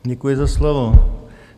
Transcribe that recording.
Děkuji za slovo.